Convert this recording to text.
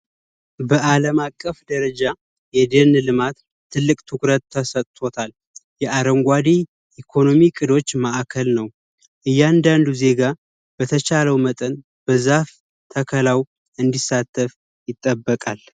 በአለም አቀፍ ደረጃ የደን ልማት ትልቅ ትኩረት ተሰጦታል። የአረንጓዴ ኢኮኖሚ እቅዶች ማዕከል ነው። እያንዳንዱ ዜጋ በተቻለው መጠን በዛፍ ተከላው እንዲሳተፍ ይጠበቃል።